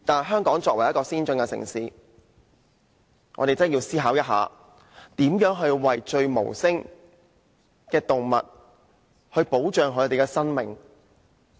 香港作為一個先進城市，我們確實需要思考怎樣保障無聲的動物的生命。